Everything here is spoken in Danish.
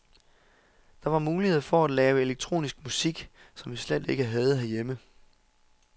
Der var muligheder for at lave elektronisk musik, som vi slet ikke havde herhjemme.